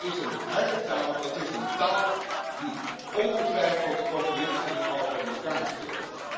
Dat is harde taal, dat is een taal die ongetwijfeld populisten in Europa in de kaart speelt.